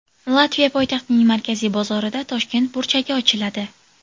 Latviya poytaxtining markaziy bozorida Toshkent burchagi ochiladi.